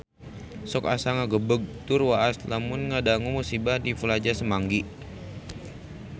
Sok asa ngagebeg tur waas lamun ngadangu musibah di Plaza Semanggi